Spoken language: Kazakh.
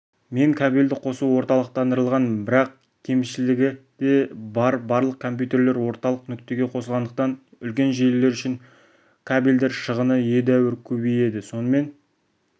мен кабельді қосу орталықтандырылған бірақ кемшілігі де бар барлық компьютерлер орталық нүктеге қосылғандықтан үлкен желілер үшін кабельдер шығыны едәуір көбейеді сонымен